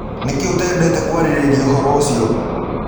Nĩkĩ ũtendete kwarĩrĩrĩa ũdũ ũcĩo?